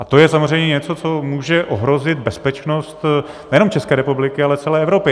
A to je samozřejmě něco, co může ohrozit bezpečnost nejenom České republiky, ale celé Evropy.